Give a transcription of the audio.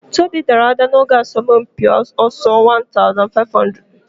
Tobi daara ada n'oge asọmpi ọsọ 1500 mita